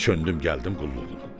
çöndüm gəldim qulluğuna.